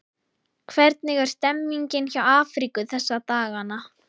Hvernig er stemmningin hjá Afríku þessa dagana?